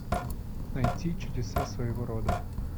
найти чудеса своего рода